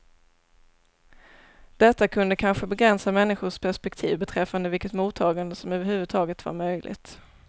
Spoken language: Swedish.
Detta kunde kanske begränsa människors perspektiv beträffande vilket mottagande som överhuvudtaget var möjligt.